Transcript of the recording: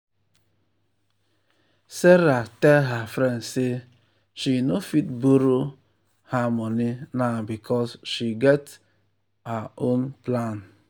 sarah tell her friend say she no fit borrow um her money now because she get her um own plan.